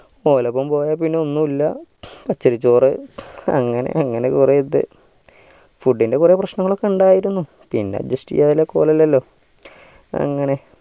ഒറപ്പരം പോയപ്പോ പിന്നെ ഒന്നുല്ല പച്ചരി ചോറ് അങ്ങനെ അങ്ങനെ കൊറേ ഇത് food ഇൻ്റെ കൊറേ പ്രശ്നങ്ങളൊക്കെ ഇണ്ടായിരുന്നു പിന്നെ udjust യയ്യാതെ വേറെ ഇല്ലാലോ അങ്ങനെ